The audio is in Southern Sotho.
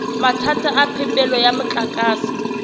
mathata a phepelo ya motlakase